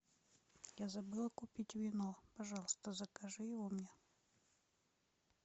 я забыла купить вино пожалуйста закажи его мне